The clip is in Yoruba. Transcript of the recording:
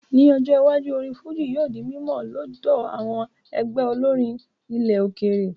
Ní ọjọ́ iwájú, orin fújì yóò di mímọ̀ lọ́dọ̀ àwọn ẹgbẹ́ olórin ilẹ̀ òkèèrè